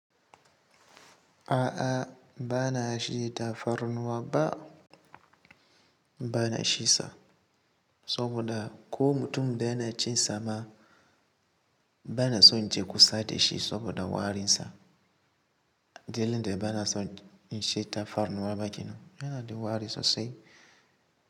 A'a ba na shi tafarnuwa ba, ba na shi sa. Saboda ko mutum da yana cin sa ma, bana son je kusa da shi saboda warin sa. Dalilin da ba na son in sha tafarnuwa ba ke nan, yana da wari sosai.